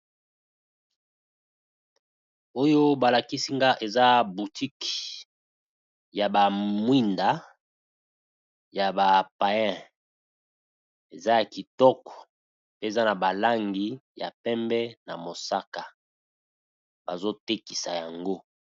Oyo ba lakisi nga eza boutique ya ba mwinda ya ba paiens, eza ya kitoko pe eza na ba langi ya pembe na mosaka . Bazo tekisa yango .